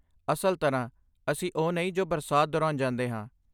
ਅਸਲ ਤਰਾਂ ਅਸੀਂ ਓਹ ਨਹੀਂ ਜੋ ਬਰਸਾਤ ਦੌਰਾਨ ਜਾਂਦੇ ਹਾਂ